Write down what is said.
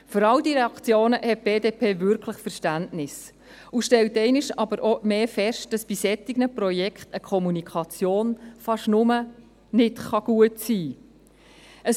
Für all diese Reaktionen hat die BDP wirklich Verständnis und stellt aber auch einmal mehr fest, dass bei solchen Projekten eine Kommunikation fast nur nicht gut sein kann.